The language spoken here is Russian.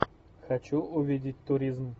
хочу увидеть туризм